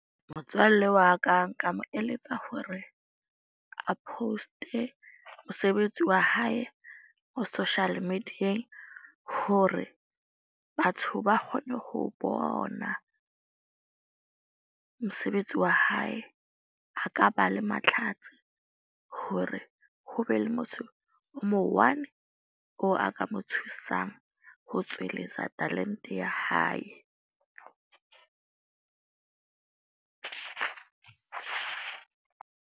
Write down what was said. Motswalle wa ka nka mo eletsa hore a post-e mosebetsi wa hae ho social media-eng. Hore batho ba kgone ho bona mosebetsi wa hae. A ka ba le matlhatsi hore ho be le motho o mo one oo a ka mo thusang ho tsweletsa talent-e ya hae .